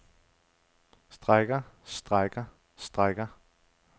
strækker strækker strækker